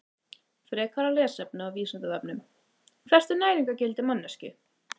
Frekara lesefni á Vísindavefnum: Hvert er næringargildi manneskju?